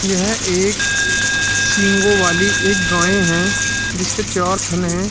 यह एक सिंगो वाली एक गाय हैं जिसके चार थन हैं।